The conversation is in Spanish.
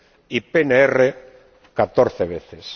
y PNR, 14 veces.